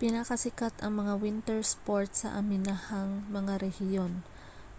pinakasikat ang mga winter sport sa aminahang mga rehiyon